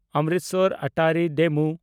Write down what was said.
Amritsar Attari DEMU